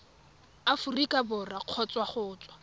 aforika borwa kgotsa go tswa